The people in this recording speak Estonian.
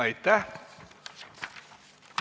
Aitäh!